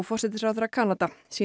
forsætisráðherra Kanada